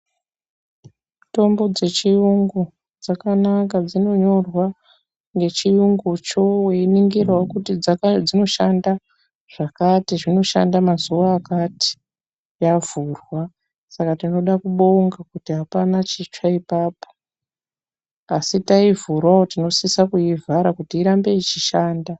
Mitombo dzechiyungu dzakanaka dzinonyorwa ngechiyungu cho weiningira wo kuti dzinoshanda zvakati, zvinoshanda mazuwa akati yavhurwa, saka tinoda kubonga kuti apana chitsva ipapo, asi taivhurawo tinosisa kuivhara kuti irambe yeishanda.